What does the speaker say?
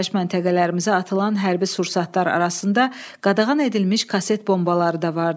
Yaşayış məntəqələrimizə atılan hərbi sursatlar arasında qadağan edilmiş kaset bombaları da var idi.